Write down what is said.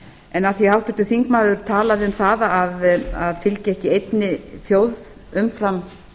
en af því að háttvirtur þingmaður talaði um það að hann fylgdi ekki einni þjóð umfram